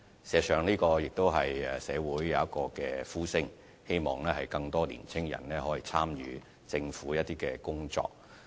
事實上，社會上亦有呼聲，希望更多年青人可以參與一些政府工作。